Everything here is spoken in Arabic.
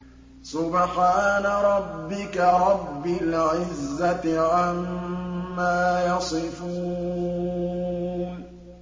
سُبْحَانَ رَبِّكَ رَبِّ الْعِزَّةِ عَمَّا يَصِفُونَ